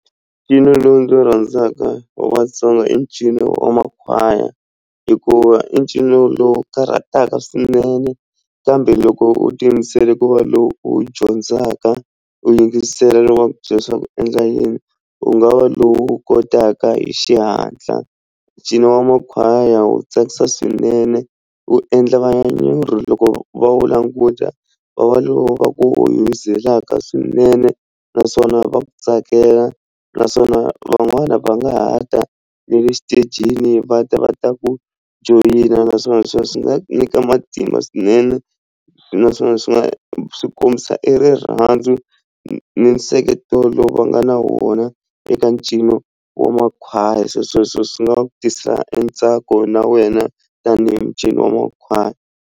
Ncino lowu ndzi wu rhandzaka wa Vatsonga i ncino wa makhwaya hikuva i ncino lowu karhataka swinene kambe loko u ti yimisele ku va lowu u wu dyondzaka u yingisela loko va ku byela leswaku u endla yini u nga va lowu kotaka hi xihatla ncino wa makhwaya wu tsakisa swinene wu endla vanyanyuri loko va wu languta va vona lowu swinene naswona va ku tsakela naswona van'wana va nga ha ta ne le xitejini va ta va ta ku joyina naswona sweswo swi nga ku nyika matimba swinene naswona swi nga swi kombisa i rirhandzu ni nseketelo va nga na wona eka ncino wa makhwaya se sweswo swi nga tisa e ntsako na wena tanihi ncino wa makhwaya.